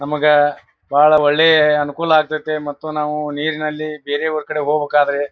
ನಮಗ ಬಹಳ ಒಳ್ಳೆ ಅನುಕೂಲ ಆಗತೈತಿ ಮತ್ತು ನಾವು ನೀರಿನಲ್ಲಿ ಬೇರೆ ಊರ ಕಡೆ ಹೋಗಬೇಕಾದ್ರೆ--